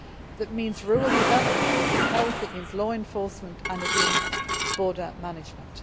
It means rural development, it means health, it means law enforcement and it means border management.